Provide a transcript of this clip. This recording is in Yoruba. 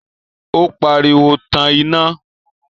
ó pariwo, 'Tan iná'